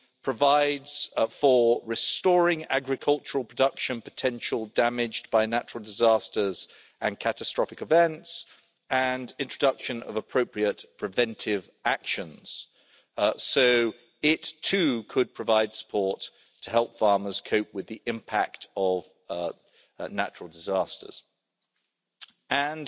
provides for restoring agricultural production potential damaged by natural disasters and catastrophic events and introduction of appropriate preventive actions, so it too could provide support to help farmers cope with the impact of natural disasters. And